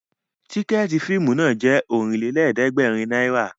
Tìkẹ̀ẹ̀tí fíìmù náà jẹ́ Ọ̀rìnlélẹ̀ẹ̀dẹ́gbèrin náírà